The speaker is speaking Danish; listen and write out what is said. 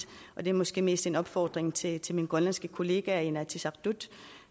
og det er måske mest en opfordring til til mine grønlandske kollegaer i inatsisartut